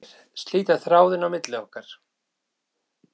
Ég var búin að flæma hana frá mér, slíta þráðinn á milli okkar.